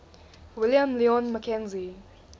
william lyon mackenzie